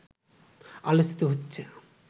আলোচিত হচ্ছে